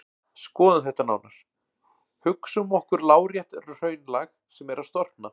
Skoðum þetta nánar: Hugsum okkur lárétt hraunlag sem er að storkna.